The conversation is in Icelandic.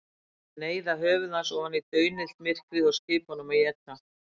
Neyða höfuð hans ofan í daunillt myrkrið og skipa honum að éta.